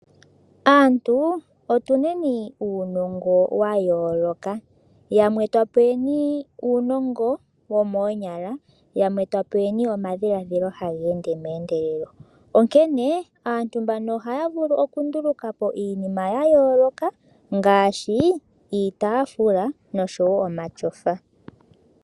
Aantu otuneni uunongo wa yooloka. Yamwe twa peweni uunongo womoonyala yamwe twa peweni omadhiladhilo haga ende meendelelo. Onkene aantu mbano ohaya vulu okunduluka po iinima ya yooloka ngaashi iitaafula noshowo omatyofa.